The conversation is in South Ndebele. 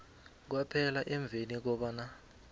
kwaphela emveni kobana